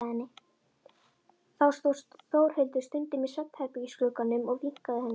Þá stóð Þórhildur stundum í svefnherbergisglugganum og vinkaði henni.